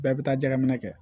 Bɛɛ bɛ taa jaga minɛ kɛ